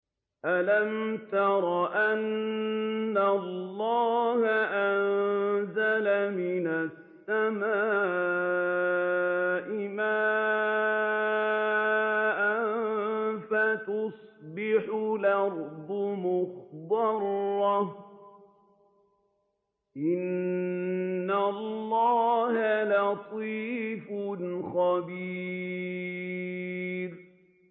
أَلَمْ تَرَ أَنَّ اللَّهَ أَنزَلَ مِنَ السَّمَاءِ مَاءً فَتُصْبِحُ الْأَرْضُ مُخْضَرَّةً ۗ إِنَّ اللَّهَ لَطِيفٌ خَبِيرٌ